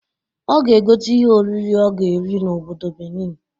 Ọ ga egote ihe oriri ọ ga eri n'obodo Benin